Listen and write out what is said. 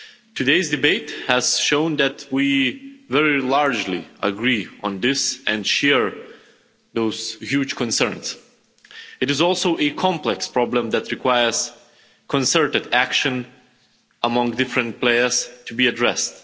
Today's debate has shown that we very largely agree on this and share those huge concerns. It is also a complex problem that requires concerted action among different players to be addressed.